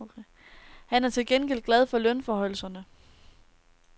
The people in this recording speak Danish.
Han er til gengæld glad for lønforhøjelserne.